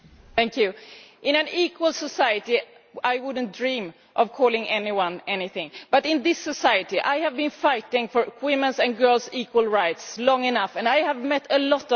In an equal society I would not dream of calling anyone anything, but in this society I have been fighting for women's and girls' equal rights for long enough, and I have met a lot of resistance.